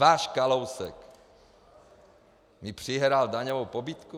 Váš Kalousek mi přihrál daňovou pobídku?